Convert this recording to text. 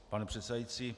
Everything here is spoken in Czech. Pane předsedající.